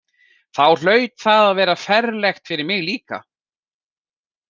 Þá hlaut það að vera ferlegt fyrir mig líka.